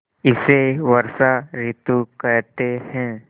इसे वर्षा ॠतु कहते हैं